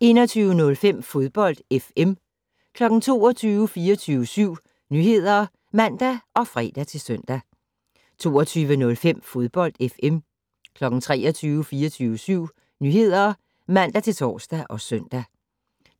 21:05: Fodbold FM 22:00: 24syv Nyheder (man og fre-søn) 22:05: Fodbold FM 23:00: 24syv Nyheder (man-tor og søn)